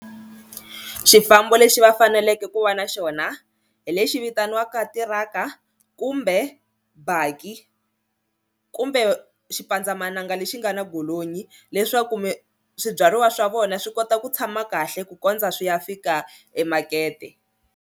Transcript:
Xifambo lexi va faneleke ku va na xona hi lexi vitaniwaka tiraka kumbe baki kumbe xipandzamananga lexi nga na golonyi leswaku swibyariwa swa vona swi kota ku tshama kahle ku kondza swi ya fika emakete.